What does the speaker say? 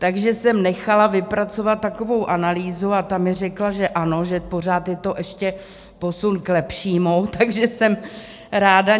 Takže jsem nechala vypracovat takovou analýzu a ta mi řekla, že ano, že pořád je to ještě posun k lepšímu, takže jsem ráda.